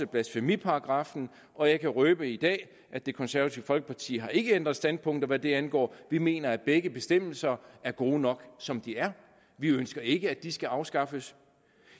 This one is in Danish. blasfemiparagraffen og jeg kan røbe i dag at det konservative folkeparti ikke har ændret standpunkt hvad det angår vi mener at begge bestemmelser er gode nok som de er vi ønsker ikke at de skal afskaffes